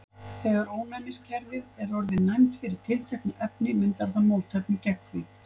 þegar ónæmiskerfið er orðið næmt fyrir tilteknu efni myndar það mótefni gegn því